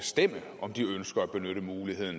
skulle benytte